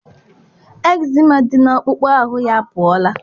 Ekzema dị n'akpụkpọ ahụ ya apụọla